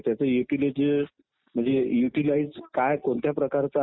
निवडणूक ही लोकशाहीतील सर्वात महत्वाची प्रक्रिया आहे